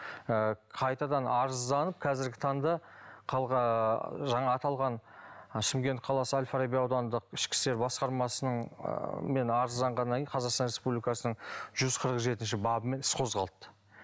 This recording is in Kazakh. ы қайтадан арызданып қазіргі таңда ыыы жаңа аталған шымкент қаласы әлфараби аудандық ішкі істер басқармасының ыыы мен арызданғаннан кейін қазақстан республикасының жүз қырық жетінші бабымен іс қозғалды